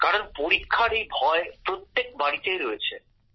কারণ পরীক্ষার এই ভয় প্রত্যেক বাড়িতেই রয়েছে